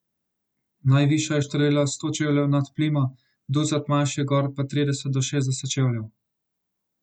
Najvišja je štrlela sto čevljev nad plimo, ducat manjših gor pa trideset do šestdeset čevljev.